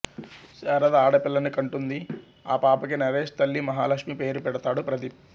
శారద ఆడపిల్లని కంటుంది ఆ పాపకి నరేష్ తల్లి మహాలక్ష్మి పేరుపెడతాడు ప్రదీప్